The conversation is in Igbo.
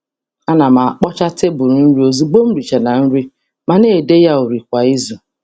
A na m e wepụ ihe n’elu tebụl nri mgbe nri gachara ma na-emecha ya kwa izu.